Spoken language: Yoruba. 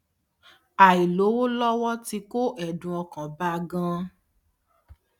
àìlówó lówó ti kó èdùn ọkàn bá a ganan